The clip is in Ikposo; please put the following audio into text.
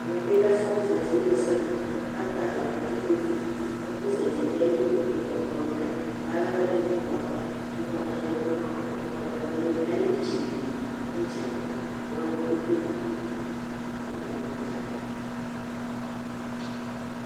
ɛmɛ bi lɛɛƒʋ zati wla ɛsɛ dʋ kʋ atani atɛ ikpɔkʋ, ɛƒʋzati dʋ ali kpekpekpe, ɛkplɔ lɛ kʋalɛ ɛkʋɛdi nʋ ɛkplɔɛ aɣa kʋ ɔgbata yadʋ nʋɔ ɔgbata dʋali, alɛ itsi di bi nʋ itsɛdi bʋa ɔlɔdi kpekpe nadʋ ɛdiniɛ, alʋ wani nadza ba